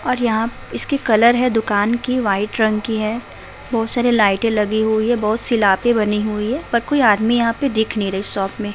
और यहा इसके कलर है दुकान की व्हाइट रंग की है बहुत सारी लाइटे लगी हुई हैं बहुत सीलापे बनी हुई हैं पर कोई आदमी यहा पे दिख नहीं रही शॉप में --